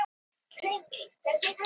Tugir sjóræningja handsamaðir